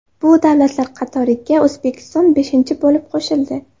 Bu davlatlar qatoriga O‘zbekiston beshinchi bo‘lib qo‘shildi.